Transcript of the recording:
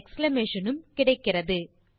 உம் கிடைக்கிறது